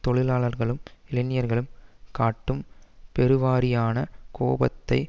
தொழிலாளர்களும் இளைஞர்களும் காட்டும் பெருவாரியான கோபத்தை